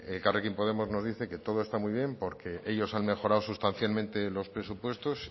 elkarrekin podemos nos dice que todo está muy bien porque ellos han mejorado sustancialmente los presupuestos